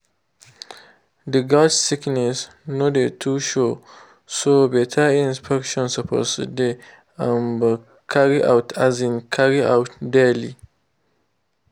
the goats sickness no dey too show so better inspection suppose dey um carrier out um carrier out daily.